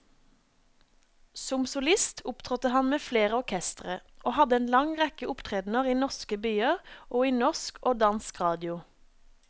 Som solist opptrådte han med flere orkestre, og hadde en lang rekke opptredender i norske byer og i norsk og dansk radio.